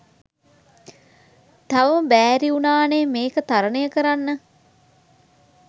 තවම බෑරිවුනානෙ මේක තරණය කරන්න.